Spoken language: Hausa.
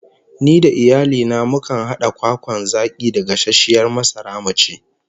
Ni da iyali na mukan hada kwakwan zaki da gasasshiyar masara mu ci